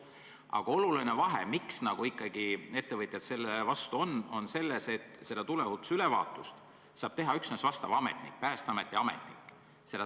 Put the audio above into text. Aga oluline vahe, miks ikkagi ettevõtjad sellele vastu on, on selles, et tuleohutusülevaatust saab teha üksnes Päästeameti ametnik.